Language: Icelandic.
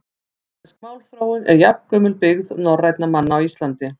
Íslensk málþróun er jafngömul byggð norrænna manna á Íslandi.